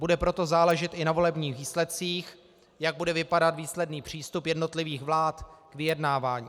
Bude proto záležet i na volebních výsledcích, jak bude vypadat výsledný přístup jednotlivých vlád k vyjednávání.